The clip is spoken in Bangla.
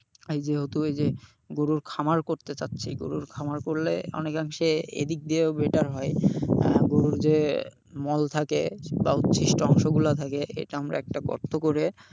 এই যেহেতু এই যে গরুর খামার করতে চাচ্ছি গরুর খামার করলে অনেকাংশে এই দিক দিয়েও better হয়, আহ গরুর যে মল থাকে বা উৎছিষ্ট অংশগুলো থাকে এটা আমরা একটা গর্ত করে,